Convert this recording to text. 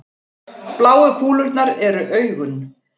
bláu kúlurnar eru augun